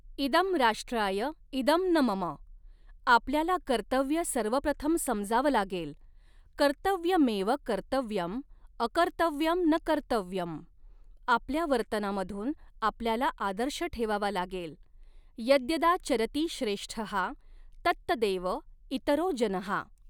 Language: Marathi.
इदं राष्ट्राय इदं न मम, आपल्याला कर्तव्य सर्वप्रथम समजावं लागेल कर्तव्यमेव कर्तव्यं, अकर्तव्यं न कर्तव्यं, आपल्या वर्तनामधून आपल्याला आदर्श ठेवावा लागेल यद्यदा चरति श्रेष्ठः तत्तदेव इतरो जनः।